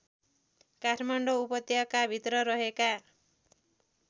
काठमाडौँ उपत्यकाभित्र रहेका